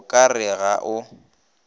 go ka re ga o